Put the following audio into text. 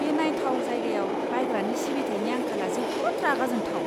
बे नायथाव जायगायाव बायग्रानि सिबिथायनि आंखाला जोबोद रागा जोंथाव।